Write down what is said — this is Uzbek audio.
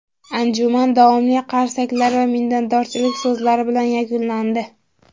Anjuman davomli qarsaklar va minnatdorchilik so‘zlari bilan yakunlandi.